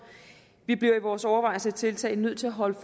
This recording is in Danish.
vi bliver i vores overvejelser og tiltag nødt til at holde